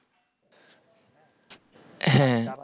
হ্যাঁ